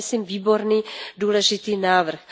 To je myslím výborný a důležitý návrh.